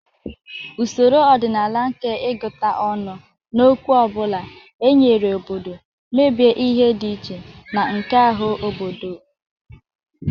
Usoro ọdịnala nke ịgụta ọnụ, n'okwu ọ bụla e nyere obodo, mebie ihe dị iche na nke ahụ obodo okwu